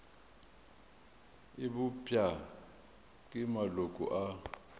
e bopša ke maloko a